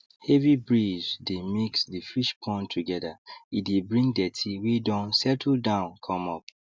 heavy breeze dey mix the fish pond together e dey bring dirty wey don settle down come up